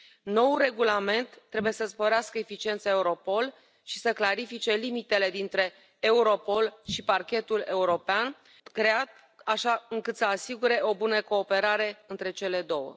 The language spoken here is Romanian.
Noul regulament trebuie să sporească eficiența Europol și să clarifice limitele dintre Europol și Parchetul European, creat așa încât să asigure o bună cooperare între cele două.